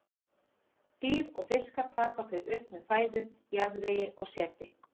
Dýr og fiskar taka þau upp með fæðu, jarðvegi og seti.